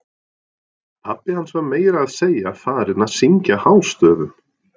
Pabbi hans var meira að segja farinn að syngja hástöfum!